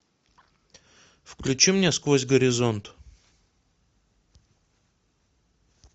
включи мне сквозь горизонт